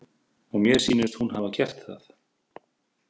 Og mér sýnist hún hafa gert það.